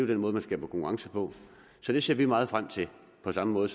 den måde man skaber konkurrence på så det ser vi meget frem til på samme måde